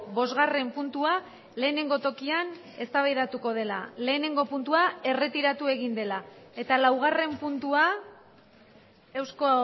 bosgarren puntua lehenengo tokian eztabaidatuko dela lehenengo puntua erretiratu egin dela eta laugarren puntua eusko